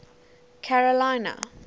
carolina